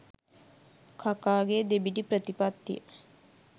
කකාගේ දෙබිඩි ප්‍රතිපත්තිය.